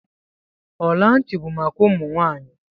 Ọla ntị bụ maka ụmụ nwaanyi.